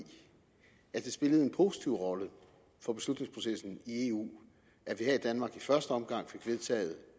at det spillede en positiv rolle for beslutningsprocessen i eu at vi her i danmark i første omgang fik vedtaget